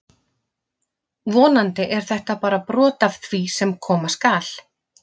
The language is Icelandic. Vonandi er þetta bara brot af því sem koma skal!